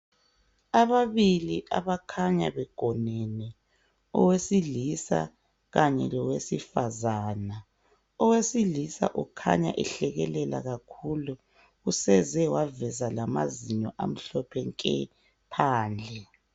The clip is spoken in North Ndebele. Ababili abakhanya begonene owesilisa kanye lowesifazana. Owesilisa ukhanya ehlekelela kakhulu useze waveze lamazinyo amhlophe nke phandle.